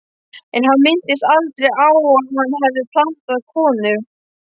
En hann minntist aldrei á að hann hefði pantað konu.